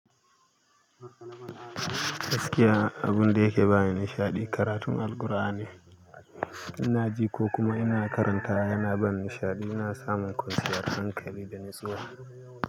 Gaskiya abun da yake ba ni nishaɗi karatun Alqur'ani. Ina ji ko kuma ina karanta yana ban nishaɗi. Ina samun kwanciyar hankali da natsuwa.